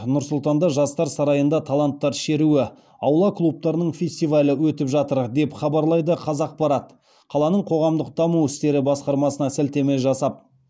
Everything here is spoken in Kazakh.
нұр сұлтанда жастар сарайында таланттар шеруі аула клубтарының фестивалі өтіп жатыр деп хабарлайды қазақпарат қаланың қоғамдық даму істері басқармасына сілтеме жасап